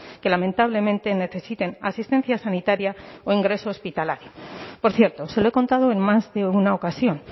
que lamentablemente necesiten asistencia sanitaria o ingreso hospitalario por cierto se lo he contado en más de una ocasión